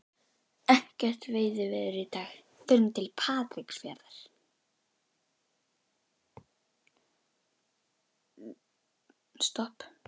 Ekkert veiðiveður í dag, förum til Patreksfjarðar.